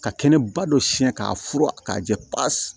Ka kɛnɛba dɔ siɲɛ k'a furu k'a jɛ pasi